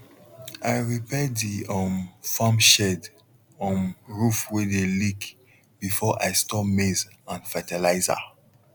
i repair di um farm shed um roof wey dey leak before i store maize and fertilizer